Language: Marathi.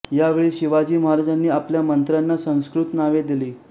यावेळी शिवाजी महाराजांनी आपल्या मंत्र्यांना संस्कृत नावे दिली